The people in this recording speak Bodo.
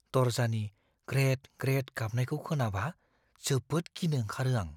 दरजानि ग्रेद-ग्रेद गाबनायखौ खोनाबा जोबोद गिनो ओंखारो आं।